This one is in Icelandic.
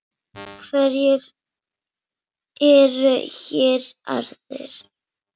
Hverjir eru hér aðrir?